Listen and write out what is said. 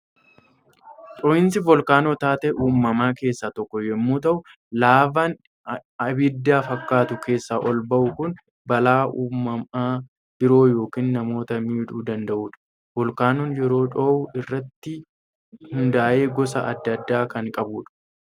Dhoohinsi volkaanoo taatee uumamaa keessaa tokko yommuu ta'u, laavaan abidda fakkaatu keessaa ol ba'u kun balaa uumama biroo yookiin namoota miidhuu danda'udha. Volkaanoon yeroo dhohu irratti hundaa'ee gosa adda addaa kan qabudha.